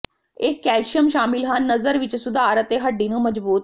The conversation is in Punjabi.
ਇਹ ਕੈਲਸ਼ੀਅਮ ਸ਼ਾਮਿਲ ਹਨ ਨਜ਼ਰ ਵਿੱਚ ਸੁਧਾਰ ਅਤੇ ਹੱਡੀ ਨੂੰ ਮਜ਼ਬੂਤ